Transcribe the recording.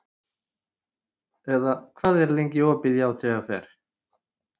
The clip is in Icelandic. Eðna, hvað er lengi opið í ÁTVR?